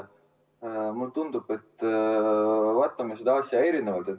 Mulle tundub, et me vaatame seda asja erinevalt.